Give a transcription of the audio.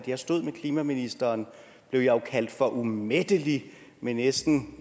jeg stod med klimaministeren blev jeg jo kaldt for umættelig med næsten